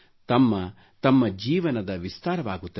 ತಮ್ಮ ತಮ್ಮ ಜೀವನದ ವಿಸ್ತಾರವಾಗುತ್ತದೆ